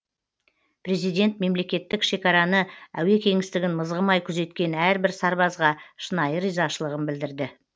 президент мемлекеттік шекараны әуе кеңістігін мызғымай күзеткен әрбір сарбазға шынайы ризашылығын білдірді